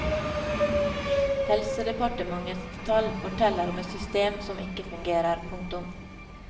Helsedepartementets tall forteller om et system som ikke fungerer. punktum